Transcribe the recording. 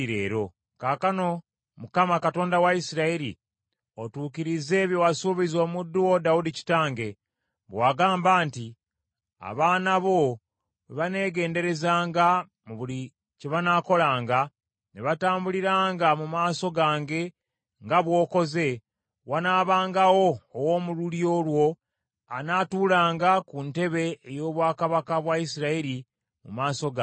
“Kaakano Mukama , Katonda wa Isirayiri, otuukirize bye wasuubiza omuddu wo Dawudi kitange, bwe wagamba nti, ‘Abaana bo bwe baneegenderezanga mu buli kye banaakolanga, ne batambuliranga mu maaso gange nga bw’okoze, wanaabangawo ow’omu lulyo lwo anaatuulanga ku ntebe ey’obwakabaka bwa Isirayiri mu maaso gange.’